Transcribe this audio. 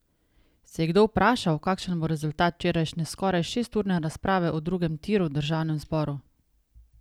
Se je kdo vprašal, kakšen bo rezultat včerajšnje skoraj šesturne razprave o drugem tiru v državnem zboru?